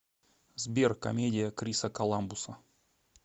сбер комедия криса коламбуса